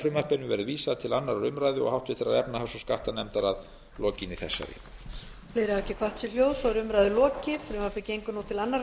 frumvarpinu verði vísað til annarrar umræðu og háttvirtrar efnahags og skattanefndar að lokinni þessari